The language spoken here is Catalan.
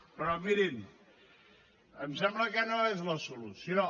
però mirin em sembla que no és la solució